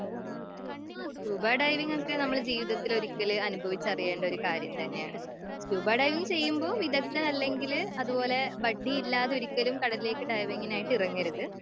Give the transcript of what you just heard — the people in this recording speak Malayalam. സ്‌ക്യൂബാ ഡൈവിങ്‌ ഒക്കെ നമ്മള് ജീവിതത്തില് ഒരിക്കല് അനുഭവിച്ചറിയേണ്ട ഒരു കാര്യം തന്നെയാണ്.സ്‌ക്യൂബാ ഡൈവിംഗ് ചെയ്യുമ്പഴ് വിദക്ത്തമല്ലെങ്കില് അതെ പോലെ ഇല്ലാതെ ഒരിക്കലും കടലിലേക്ക് ഡൈവിങിനായിട്ട് ഇറങ്ങരുത്.